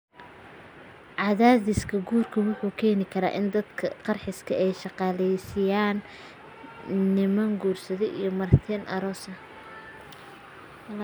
Cadaadiska guurka wuxuu keeni karaa in dadka qaarkiis ay shaqaaleysiinayaan niman guursada iyo martida aroosyada.